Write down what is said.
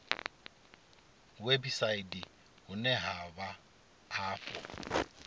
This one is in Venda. website vhune ha vha afho